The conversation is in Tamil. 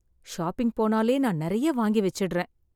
ஷாப்பிங் போனாலே நான் நிறைய வாங்கி வச்சிடுறேன்.